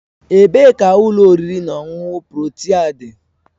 Ebee ka ụlọ oriri na ọṅụṅụ Protia dị?